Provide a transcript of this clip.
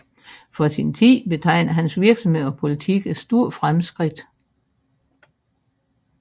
For sin tid betegner hans virksomhed og politik et stort fremskridt